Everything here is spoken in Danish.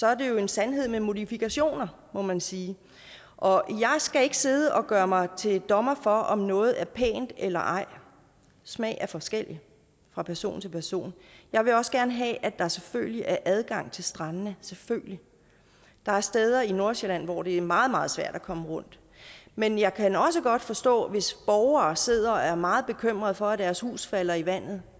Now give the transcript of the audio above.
er det en sandhed med modifikationer må man sige og jeg skal ikke sidde og gøre mig til dommer over om noget er pænt eller ej smag er forskellig fra person til person jeg vil også gerne have at der selvfølgelig er adgang til strandene selvfølgelig der er steder i nordsjælland hvor det er meget meget svært at komme rundt men jeg kan også godt forstå hvis borgere sidder og er meget bekymret for at deres huse falder i vandet